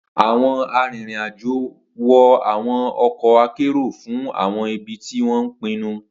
Awọn arinrin-ajo wọ awọn ọkọ akero fun awọn ibi ti wọn pinnu.